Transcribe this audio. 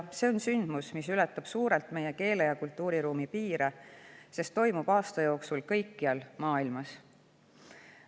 See on sündmus, mis ületab suurelt meie keele‑ ja kultuuriruumi piire, sest aasta jooksul kõikjal maailmas.